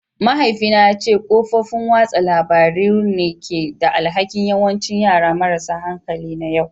Mahaifina ya ce kafofin watsa labarun ne ke da alhakin yawancin yara marasa hankali na yau